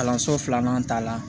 Kalanso filanan ta la